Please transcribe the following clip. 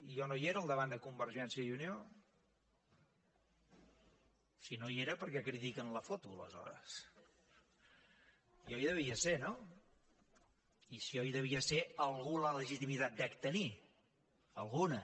jo no hi era al davant de convergència i unió si no hi era per què critiquen la foto aleshores jo hi devia ser no i si jo hi devia ser alguna legitimitat dec tenir alguna